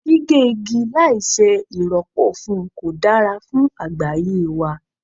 Gígé igi láì ṣe ì rọ́pò fún kò dára fún àgbáyé wa.